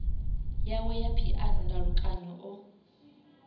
yawe ya phiano ndalukanyo o